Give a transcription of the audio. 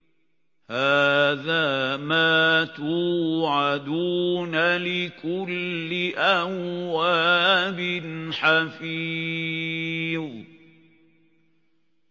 هَٰذَا مَا تُوعَدُونَ لِكُلِّ أَوَّابٍ حَفِيظٍ